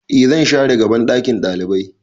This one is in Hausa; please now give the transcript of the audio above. E zan share gaban ɗakin ɗalibai